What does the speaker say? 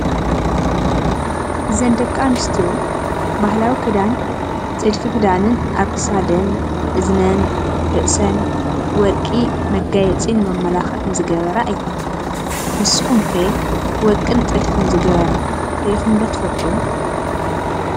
እዘን ደቂ ኣንስትዮ ባህላዊ ክዳን ጥልፊ ክዳንን ኣብ ክሳደን እዝነን፣ ርእሰን ወርቂ መጋየፂን መመላክዕን ዝገበራ እየን። ንስኩም ከ ወርቂን ጥልፍን ዝገበራ ሪኢኩም ዶ ትፈልጡ ?